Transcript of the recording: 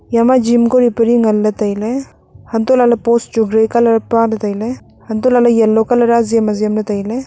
eya ma gym kori peli ngan le tai ley antohlahle post chu grey colour pale tailey antohlahle yellow a azem azem le tailey.